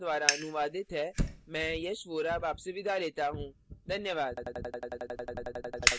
यह script लता द्वारा अनुवादित है मैं यश वोरा अब आप से विदा लेता हूँ